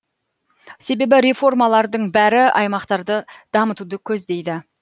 себебі реформалардың бәрі аймақтарды дамытуды көздейді